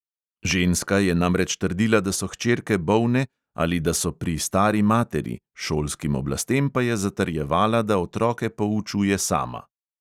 Ženska je namreč trdila, da so hčerke bolne ali da so pri stari materi, šolskim oblastem pa je zatrjevala, da otroke poučuje sama.